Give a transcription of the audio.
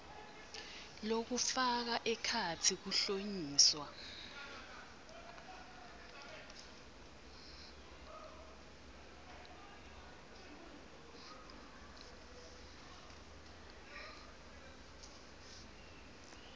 lokufaka ekhatsi kuhlonyiswa